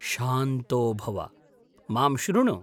शान्तो भव, मां शृणु।